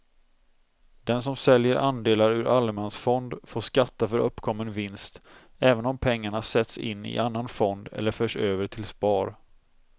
Den som säljer andelar ur allemansfond får skatta för uppkommen vinst även om pengarna sätts in i annan fond eller förs över till spar.